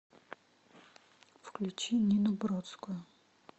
включи нину бродскую